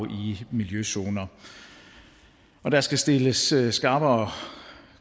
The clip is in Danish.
i miljøzoner og der skal stilles stilles skarpere